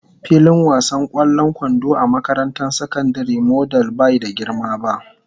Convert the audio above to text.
Filin wasan ƙwallon kwando a makarantar sakandare model bai da girma ba.